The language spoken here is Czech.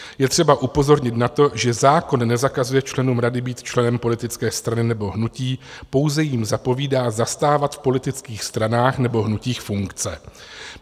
Je třeba upozornit na to, že zákon nezakazuje členům rady být členem politické strany nebo hnutí, pouze jim zapovídá zastávat v politických stranách nebo hnutích funkce.